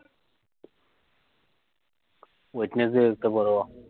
দেখতে পারো